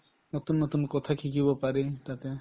নতুন নতুন কথা শিকিব পাৰি তাতে